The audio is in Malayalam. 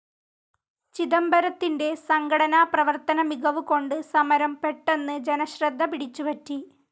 ചിദംബരത്തിൻ്റെ സംഘടനാ പ്രവർത്തന മികവുകൊണ്ട് സമരം പെട്ടെന്നു ജനശ്രദ്ധ പിടിച്ച് പറ്റി.